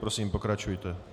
Prosím, pokračujte.